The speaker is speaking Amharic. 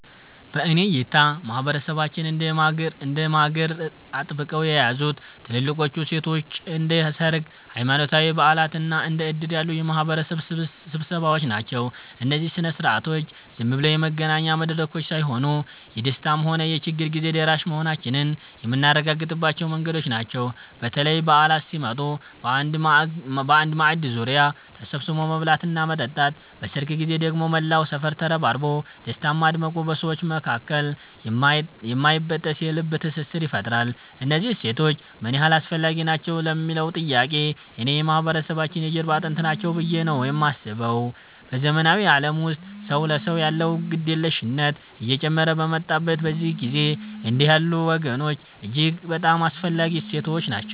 በእኔ እይታ ማህበረሰባችንን እንደ ማገር አጥብቀው የያዙት ትልልቆቹ እሴቶቻችን እንደ ሰርግ፣ ሃይማኖታዊ በዓላት እና እንደ ዕድር ያሉ የማህበረሰብ ስብሰባዎች ናቸው። እነዚህ ሥነ ሥርዓቶች ዝም ብለው የመገናኛ መድረኮች ሳይሆኑ፣ የደስታም ሆነ የችግር ጊዜ ደራሽ መሆናችንን የምናረጋግጥባቸው መንገዶች ናቸው። በተለይ በዓላት ሲመጡ በአንድ ማዕድ ዙሪያ ተሰብስቦ መብላትና መጠጣት፣ በሰርግ ጊዜ ደግሞ መላው ሰፈር ተረባርቦ ደስታን ማድመቁ በሰዎች መካከል የማይበጠስ የልብ ትስስር ይፈጥራል። እነዚህ እሴቶች ምን ያህል አስፈላጊ ናቸው ለሚለዉ ጥያቄ፣ እኔ የማህበረሰባችን የጀርባ አጥንት ናቸው ብዬ ነው የማስበው። በዘመናዊው ዓለም ውስጥ ሰው ለሰው ያለው ግድየለሽነት እየጨመረ በመጣበት በዚህ ጊዜ፣ እንዲህ ያሉ ወጎች እጅግ በጣም አስፈላጊ እሴቶች ናቸው።